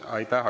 Aitäh!